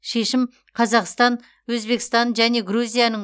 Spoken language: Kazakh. шешім қазақстан өзбекстан және грузияның